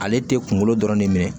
Ale tɛ kunkolo dɔrɔn ne minɛ